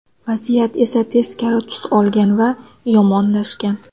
Vaziyat esa teskari tus olgan va yomonlashgan.